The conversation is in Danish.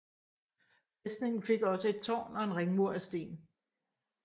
Fæstningen fik også et tårn og en ringmur af sten